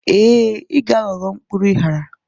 ee, ị ga-aghọrọ, mkpụrụ ịghara